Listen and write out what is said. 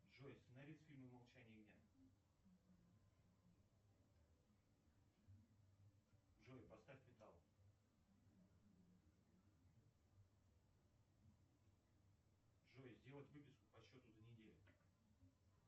джой сценарист фильма молчание ягнят джой поставь металл джой сделать выписку по счету за неделю